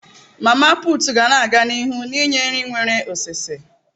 Mama putu ga na-aga n'ihu ninye nri nwere oseose.